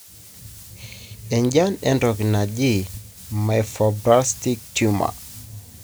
Enjian entoki naji myofibroblastic tumor.